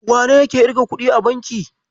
Wane yake irga kuɗi a banki?